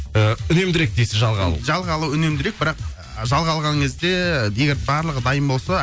ыыы үнемдірек дейсіз жалға алу жалға алу үнемдірек бірақ жалға алған кезде егер барлығы дайын болса